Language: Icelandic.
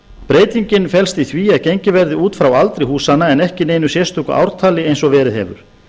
breytingin felst í því að gengið verði út frá aldri húsanna en ekki neinu sérstöku ártali eins og verið hefur